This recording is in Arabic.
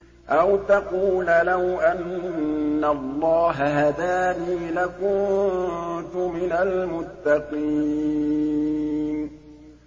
أَوْ تَقُولَ لَوْ أَنَّ اللَّهَ هَدَانِي لَكُنتُ مِنَ الْمُتَّقِينَ